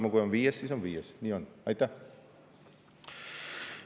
Peaks olema nii, et kui on viies, siis on viies.